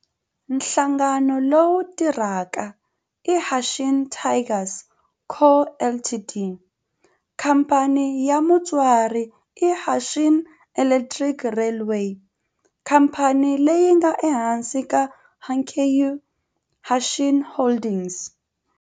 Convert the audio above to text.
Nhlangano lowu tirhaka i Hanshin Tigers Co., Ltd. Khamphani ya mutswari i Hanshin Electric Railway, khamphani leyi nga ehansi ka Hankyu Hanshin Holdings.